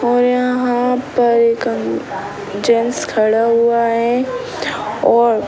और यहाँ पर एक अंक जेंट्स खड़ा हुआ है और --